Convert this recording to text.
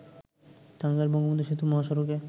টাঙ্গাইল-বঙ্গবন্ধু সেতু মহাসড়কে